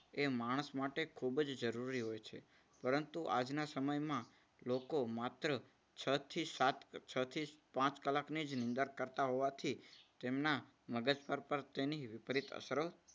એ માણસ માટે ખૂબ જ જરૂરી હોય છે. પરંતુ આજના સમયમાં લોકો માત્ર છ થી સાત, છથી પાંચ કલાક ની જ નિંદર કરતા હોવાથી તેમના મગજ પર પણ તેની વિપરીત અસર